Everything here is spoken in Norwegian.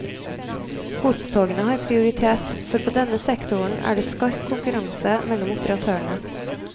Godstogene har prioritet, for på denne sektoren er det skarp konkurranse mellom operatørene.